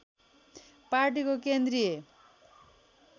पार्टीको केन्द्रीय